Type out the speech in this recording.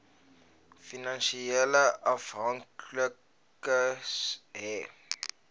finansiële afhanklikes hê